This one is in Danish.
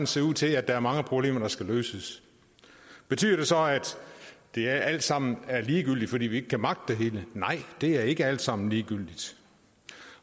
ser ud til at der er mange problemer der skal løses betyder det så at det alt sammen er ligegyldigt fordi vi ikke kan magte det hele nej det er ikke alt sammen ligegyldigt